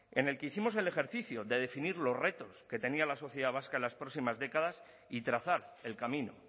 en el que hicimos el ejercicio de definir los retos que tenía la sociedad vasca en las próximas décadas y trazar el camino